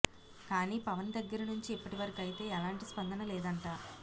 కాని పవన్ దగ్గరి నుంచి ఇప్పటివరకైతే ఎలాంటి స్పందన లేదంట